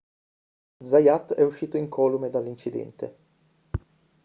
zayat è uscito incolume dall'incidente